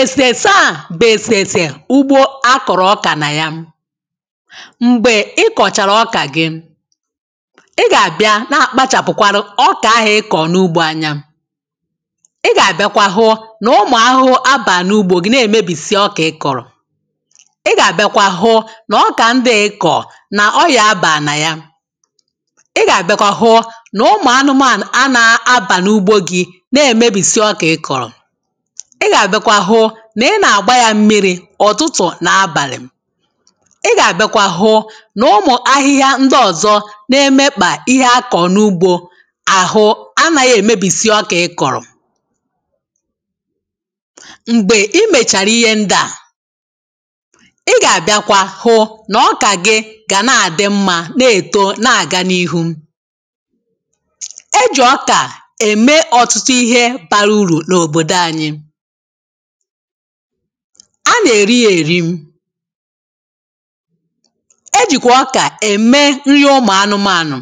èsèrese à bù èsèrèsè ugbo akọ̀rọ̀ ọkà nà ya m̀gbè ị kọ̀chàrà ọkà gị ị gà-àbịa kpachàpụkwara ọkà ahụ̀ ị kọ̀rọ̀ n’ugbo anya ị gà-àbịakwa hụ nà ụmùahụhụ abàghị̀ n’ugbō gị na-èmebisi ihe ịkọ̀rọ̀ ị gà-àbịakwa hụ n’ ọkà ndị à ị kọ̀rọ̀ nà ọrịà abàghì nà ya ị gà-àbịakwa hụ nà ụmùanụmànù anaghị abà n’ugbo gi na-èmebìsi ọkà ịkọ̀rọ̀ ị gà-àbịakwa hụ nà ị nà-àgba ya mmirī ùtutù nà abàlị̀ ị gà-àbịakwa hụ nà ụmụ̀ ahịhịa ndị ọ̀zọ na-emekpàihe a kọrọ n’ugbo àhụ anaghị èmebìsi ọkà ịkọ̀rọ̀ m̀gbè I mèchàrà ihe ndi à ị gà-àbịakwa hụ n’ọkà gị gàna àdị mma na-èto na-àga n’ihu ejì ọkà ème ọ̀tụtụ ihe bara urù n’òdòdo anyị a nà-èri yā èri ejìkwà ọkà ème nri ụmùanụmànù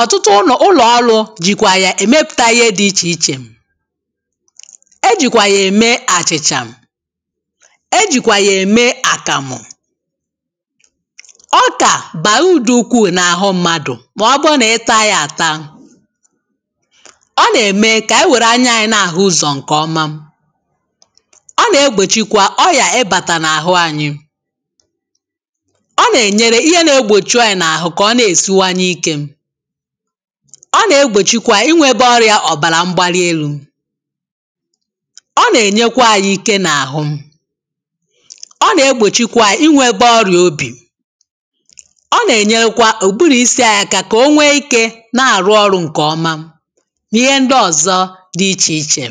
ọtụtụ ụlọ̀ọrụ jìkwà yà èmepùta ihe dị ichè ichè ejìkwà yà ème àchị̀chà ejìkwà yà ème àkàmụ̀ ọkà bàrà uru dị ukwuù nà àhụ mmadụ̀ mà ọ bụrụ nà ị taa ya àta ọ nà-ème kà ànyị wère anya anyị̄ na-àhụ ụzọ̀ ǹkè ọma ọ nà-egbòchikwa ọrìà ịbàtà nà ahụ anyị ọ nà-ènyere ihe na-egbòchi ọrị̀à nà àhụ kà ọ na-èsinyekwa ikē ọ nà-egbòchikwa inwebe ọrìà òbàrà mgbalielu ọ nà-ènyekwa anyị ike nà àhụ ọ nà-egbòchikwa inwebe ọrìà óbì ọ nà-ènyerekwa ùburù isi anyị aka kà o nwee ikē na-àrụ ọrụ̄ ǹkè ọma n'ihe ndi ọ̀zọ dị ichè ichè